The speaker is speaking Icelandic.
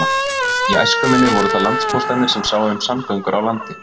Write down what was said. Í æsku minni voru það landpóstarnir sem sáu um samgöngur á landi.